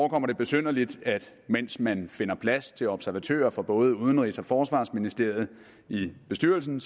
det besynderligt at mens man finder plads til observatører fra både udenrigs og forsvarsministeriet i bestyrelsen